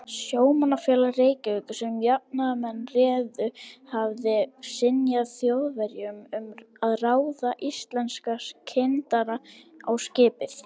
Sjómannafélag Reykjavíkur, sem jafnaðarmenn réðu, hafði synjað Þjóðverjum um að ráða íslenska kyndara á skipið.